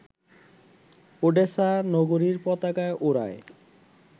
Odessa নগরীর পতাকা ওড়ায়